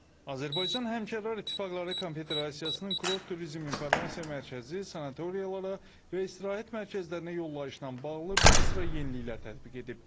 Azərbaycan Həmkarlar İttifaqları Konfederasiyasının Kurort Turizm İnformasiya Mərkəzi sanatoriyalara və istirahət mərkəzlərinə yollayışla bağlı bir sıra yeniliklər tətbiq edib.